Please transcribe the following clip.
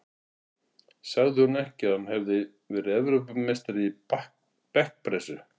Sagði hún ekki að hann hefði verið Evrópumeistari í bekkpressu?